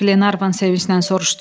Qlenarvan sevinclə soruşdu.